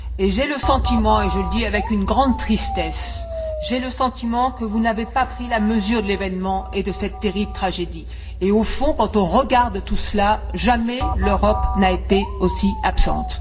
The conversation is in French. J'ai le sentiment, et je le dis avec une grande tristesse, que vous n'avez pas pris la mesure de l'événement et de cette terrible tragédie et, au fond, quand on regarde tout cela, jamais l'Europe n'a été aussi absente.